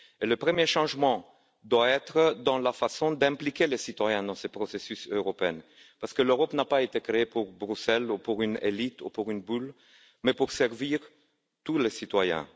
Le premier changement doit être dans la façon d'associer les citoyens à ces processus européens parce que l'Europe n'a pas été créée pour Bruxelles ou pour une élite ou pour une bulle mais pour servir tous les citoyens.